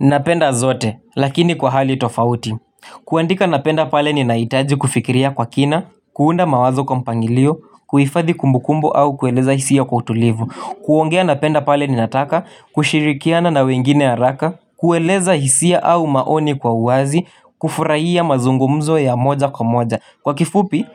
Napenda zote, lakini kwa hali tofauti. Kuandika napenda pale ni naitaji kufikiria kwa kina, kuunda mawazo kwa mpangilio, kuifathi kumbukumbo au kueleza hisia kwa utulivu. Kuongea napenda pale ni nataka kushirikiana na wengine haraka, kueleza hisia au maoni kwa uazi, kufurahia mazungumzo ya moja kwa moja. Kwa kifupi,